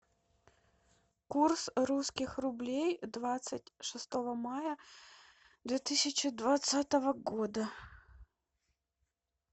курс русских рублей двадцать шестого мая две тысячи двадцатого года